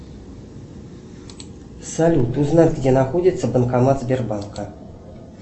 салют узнай где находится банкомат сбербанка